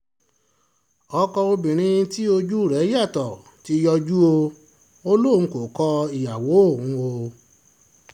ọkọ obìnrin tí ojú rẹ̀ yàtọ̀ ti yọjú o ò lóun kò kọ ìyàwó òun o